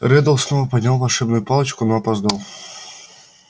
реддл снова поднял волшебную палочку но опоздал